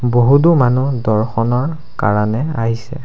বহুতো মানুহ দৰ্শনৰ কাৰণে আহিছে।